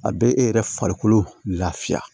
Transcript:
A bɛ e yɛrɛ farikolo lafiya